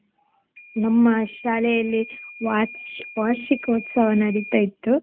ನಮ್ಮ ಶಾಲೆಯಲ್ಲಿ ವಾರ್ಷಿ~ ವಾರ್ಷಿಕೋತ್ಸವ ನಡಿತಾ ಇತ್ತು.